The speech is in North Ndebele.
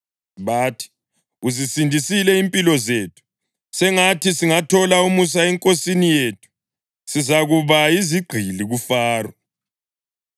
Bathi, “Uzisindisile impilo zethu. Sengathi singathola umusa enkosini yethu; sizakuba yizigqili kuFaro.”